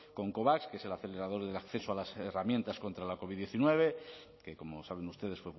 con covax que es el acelerador del acceso a las herramientas contra la covid diecinueve que como saben ustedes